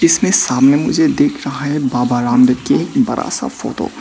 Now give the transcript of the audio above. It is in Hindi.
इसके सामने मुझे देख रहा है बाबा रामदेव कि बड़ा सा फोटो ।